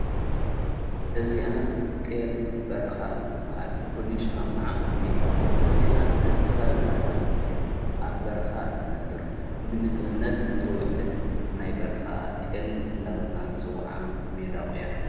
እዚኣ ጢል በረኻ እትበሃል ፍሊሽ ማ ኸዓ ሜዳቝ እዚኣ እንስሳ ዘገዳም እያ ኣብ በረኻ እትነብር ንምግብነት እተውዕል ናይ በረኻ ጢል እንዳበልናምፂ ውዓ ሜዳቝ እያ።